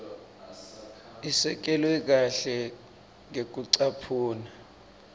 isekelwe kahle ngekucaphuna